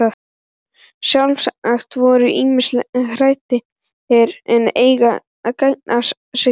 Sjálfsagt voru ýmsir hræddir, en enginn gaf sig fram.